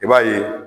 I b'a ye